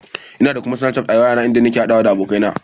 Ina kuma da Snafchat a wayata inda nake haɗawa da abokaina.